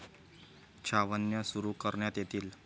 छावण्या सुरु करण्यात येतील.